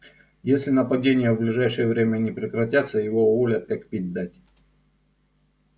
если нападения в ближайшее время не прекратятся его уволят как пить дать